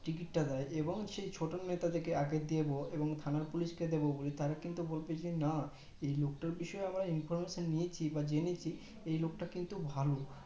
টিকিটটা দে এবং ছোট নেতা দেড় আগের দেব এবং থানা পুলিশ কে দেব বলি তারা কিন্তু বলবে যে না এই লোকটার বিষয়ে information নিয়েছি বা জেনেছি এই লোকটা কিন্তু ভালো